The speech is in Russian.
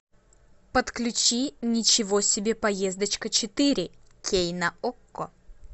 подключи ничего себе поездочка четыре кей на окко